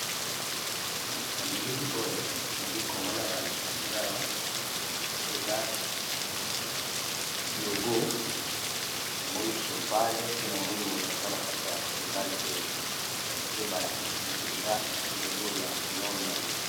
Na billi Oyo namini balikisi nagai bakisi biso eaa logo ya cheval NDE ba lakisi bison Awa ezay London